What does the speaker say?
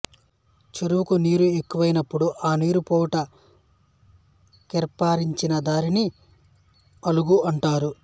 చెరువునకు నీరెక్కువైనపుడు ఆ నీరు పోవుట కేర్పరచినదారిని అలుగు అంటారు